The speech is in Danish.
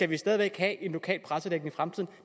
vi stadig væk have en lokal pressedækning i fremtiden